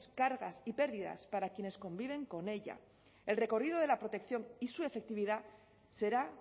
cargas y pérdidas para quienes conviven con ella el recorrido de la protección y su efectividad será